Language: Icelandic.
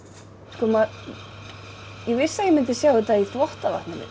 sko ég vissi að ég myndi sjá þetta í þvottavatninu